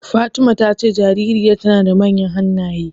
Fatima ta ce jaririyar tana da manyan hannaye.